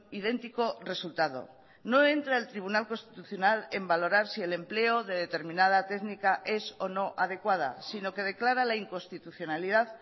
idéntico resultado no entra el tribunal constitucional en valorar si el empleo de determinada técnica es o no adecuada sino que declara la inconstitucionalidad